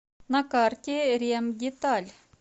на карте ремдеталь